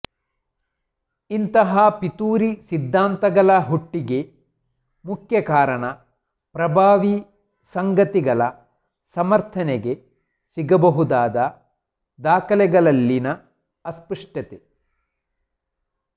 ಇಂಥಹ ಪಿತೂರಿ ಸಿದ್ಧಾಂತಗಳ ಹುಟ್ಟಿಗೆ ಮುಖ್ಯ ಕಾರಣ ಪ್ರಭಾವಿ ಸಂಗತಿಗಳ ಸಮರ್ಥನೆಗೆ ಸಿಗಬಹುದಾದ ದಾಖಲೆಗಳಲ್ಲಿನ ಅಸ್ಪಷ್ಟತೆ